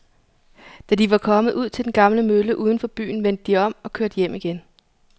Da de var kommet ud til den gamle mølle uden for byen, vendte de om og kørte hjem igen.